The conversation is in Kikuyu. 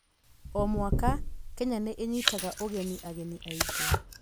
O mwaka, Kenya nĩ iĩnyitaga ũgeni ageni aingĩ.